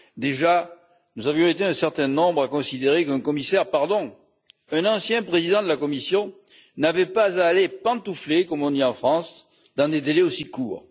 Déjà, nous avions été un certain nombre à considérer qu'un commissaire pardon, un ancien président de la Commission n'avait pas à aller pantoufler, comme on dit en France, dans des délais aussi courts.